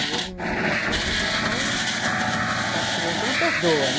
E eu menina na escola, o pessoal, sabe criança não perdoa, né?